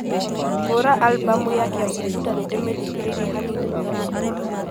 hura albamu ya kiambukuta ni ndimithikĩrĩrie hanini makĩria